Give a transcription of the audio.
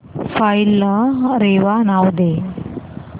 file ला रेवा नाव दे